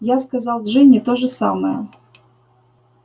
я сказал джинни то же самое